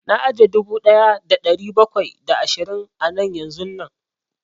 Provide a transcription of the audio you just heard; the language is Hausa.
Na aje dubu ɗaya da ɗari bakwai da ashirin a nan yanzun nan